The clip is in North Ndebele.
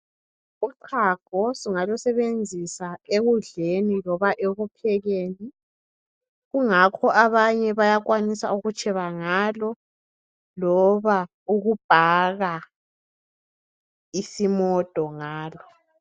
Uchago singalusebenzisa ekudleni loba ekuphekeni kungakho abanye bayakwanisa ukutsheba ngalo loba ukubhaka isimodo ngalo.